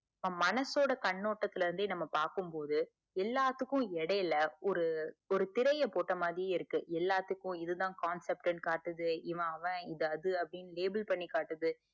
நம்ம மனசோட கண்ணோட்டத்துல இருந்து பாக்கும் போது எல்லாத்துக்கும் எடையில ஒரு ஒரு திரைய போட்ட மாதிரி இருக்கு எல்லாத்துக்கும் இதுதான் concept நு காட்டுது இவன் அவன் இது அது அப்புடின்னு label பண்ணி காட்டுது